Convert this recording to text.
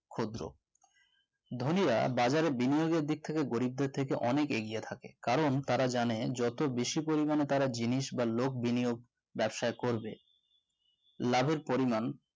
ক্ষুদ্র ধনীরা বাজারের বিনিয়োগের দিক থেকে গরিবদের থেকে অনেক এগিয়ে থাকে কারণ তারা জানে যত বেশি পরিমাণে তারা জিনিস ভালো বিনিয়োগ ব্যবসায়ী করবে লাভের পরিমাণ